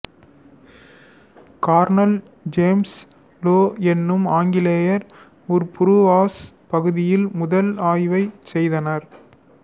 Cornell James Low எனும் ஆங்கிலேயர் புருவாஸ் பகுதியில் முதல் ஆய்வைச் செய்தார்